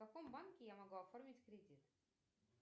в каком банке я могу оформить кредит